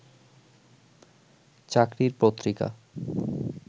চাকরির পত্রিকা